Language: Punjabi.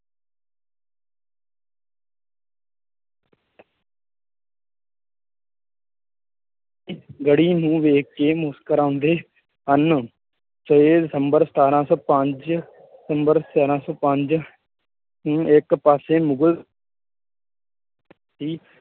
ਗੜ੍ਹੀ ਨੂੰ ਵੇਖ ਕੇ ਮੁਸਕਰਾਉਂਦੇ ਹਨ। ਛੇ ਦਸੰਬਰ ਸਤਾਰਾਂ ਸੌ ਪੰਜ ਸਤਾਰਾਂ ਸੌ ਪੰਜ ਨੂੰ ਇਕ ਪਾਸੇ ਮੁਗਲ